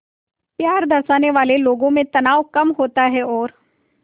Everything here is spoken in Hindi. प्यार दर्शाने वाले लोगों में तनाव कम होता है और